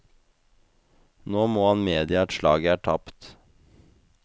Nå må han medgi at slaget er tapt.